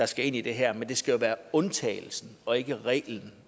skal ind i det her men det skal jo være undtagelsen og ikke reglen